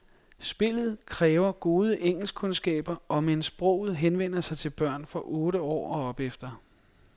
Spillet kræver gode engelskkundskaber, omend sproget henvender sig til børn fra otte år og opefter.